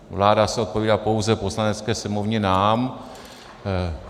Vláda se odpovídá pouze Poslanecké sněmovně, nám.